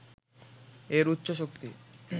এর উচ্চ শক্তি